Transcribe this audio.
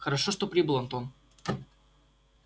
хорошо что прибыл антон